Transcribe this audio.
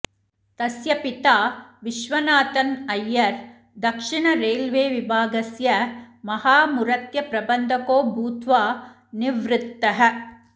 तस्य पिता विश्वनाथन् अरयर् दक्षिण रेल्वे विभागस्य महामुरत्यप्रबन्धको भूत्वा निवृत्तः